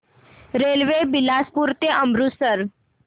railway Bilaspur ते अमृतसर